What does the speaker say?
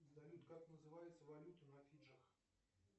салют как называется валюта на фиджи